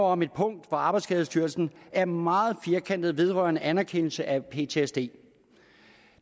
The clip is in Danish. om et punkt hvor arbejdsskadestyrelsen er meget firkantet vedrørende anerkendelse af ptsd